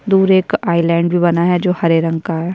दूर एक आइलैंड भी बना है जो हरे रंग का है।